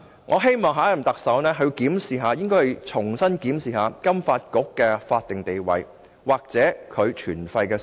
我希望下任特首能重新檢視金發局的法定地位或其存廢的需要。